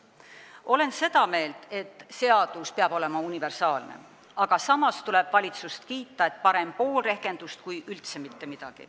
Olen seda meelt, et seadus peab olema universaalne, aga samas tuleb valitsust kiita, sest parem pool rehkendust kui üldse mitte midagi.